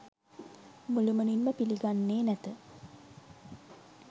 මුළුමනින්ම පිළිගන්නේ නැත